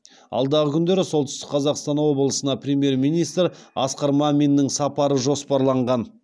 алдағы күндері солтүстік қазақстан облысына премьер министр асқар маминнің сапары жоспарланған